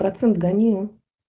процент гони